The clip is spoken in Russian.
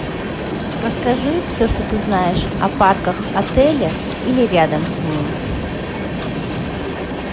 расскажи все что ты знаешь о парках отеля или рядом с ним